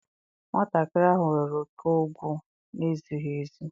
Nwatakịrị ahụ were oke ọgwụ na-ezighi ezi.